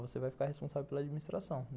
Você vai ficar responsável pela administração.